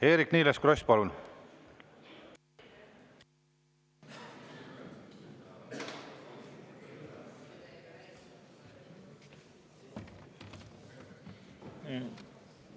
Eerik-Niiles Kross, palun!